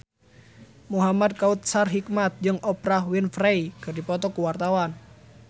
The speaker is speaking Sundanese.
Muhamad Kautsar Hikmat jeung Oprah Winfrey keur dipoto ku wartawan